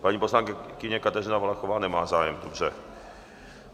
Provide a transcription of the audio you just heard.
Paní poslankyně Kateřina Valachová nemá zájem, dobře.